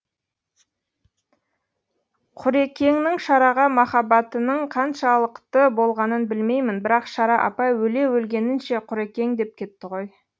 құрекеңнің шараға махаббатының қаншалықты болғанын білмеймін бірақ шара апай өле өлгенінше құрекең деп кетті ғой